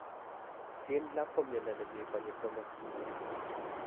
Schindler ko miondo ne mii konyil somok